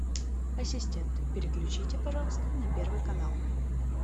ассистент переключите пожалуйста на первый канал